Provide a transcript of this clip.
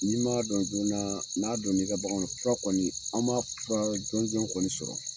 N'i m'a dɔn jɔɔna, n'a donna i ka bagan na, fura kɔni , an m'a fura jɔn jɔn kɔni sɔrɔ.